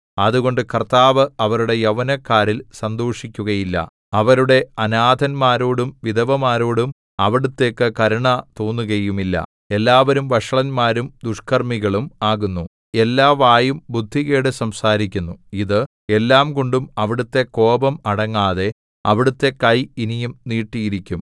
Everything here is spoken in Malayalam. അതുകൊണ്ട് കർത്താവ് അവരുടെ യൗവനക്കാരിൽ സന്തോഷിക്കുകയില്ല അവരുടെ അനാഥന്മാരോടും വിധവമാരോടും അവിടുത്തേക്കു കരുണ തോന്നുകയുമില്ല എല്ലാവരും വഷളന്മാരും ദുഷ്കർമ്മികളും ആകുന്നു എല്ലാ വായും ബുദ്ധികേട്‌ സംസാരിക്കുന്നു ഇത് എല്ലാംകൊണ്ടും അവിടുത്തെ കോപം അടങ്ങാതെ അവിടുത്തെ കൈ ഇനിയും നീട്ടിയിരിക്കും